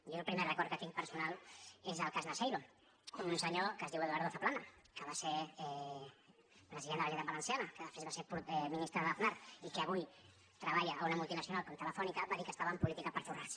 jo el primer record que tinc personal és el cas naseiro un senyor que es diu eduardo zaplana que va ser president de la generalitat valenciana que després va ser ministre d’aznar i que avui treballa en una multinacional com telefónica va dir que estava en política per forrar se